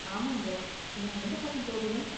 ஆமாங்க, நான் எந்தப் பக்கம் போகணும்?